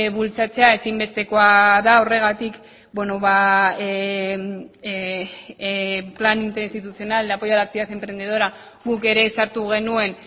bultzatzea ezinbestekoa da horregatik el plan interinstitucional de apoyo a la actividad emprendedora guk ere sartu genuen